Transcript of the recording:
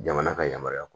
Jamana ka yamaruya